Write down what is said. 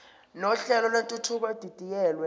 nohlelo lwentuthuko edidiyelwe